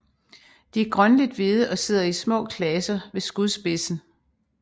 De er grønligt hvide og sidder i små klaser ved skudspidsen